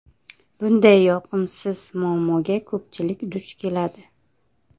Bunday yoqimsiz muammoga ko‘pchilik duch keladi.